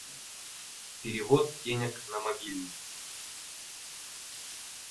перевод денег на мобильный